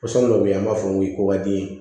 Pɔsɔn dɔ bɛ yen an b'a fɔ o ma ko kɔkɔdi